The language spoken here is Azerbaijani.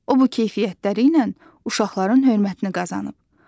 O bu keyfiyyətləri ilə uşaqların hörmətini qazanıb.